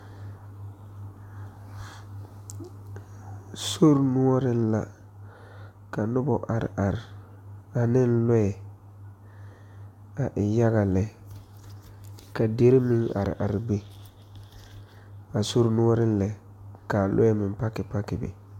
Sori noɔreŋ la ka noba are are ane loɛ ka a e yaga lɛ ka dere meŋ are are be a sori noɔreŋ lɛ ka loɛ meŋ park park be.